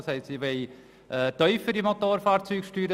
Das Volk will tiefere Motorfahrzeugsteuern.